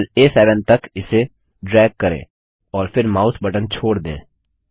cell आ7 तक इसे ड्राग करें और फिर माउस बटन छोड़ दें